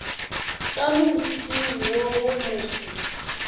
ka moriting wo wo moso